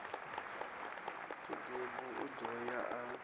khedebu o ḓo ya a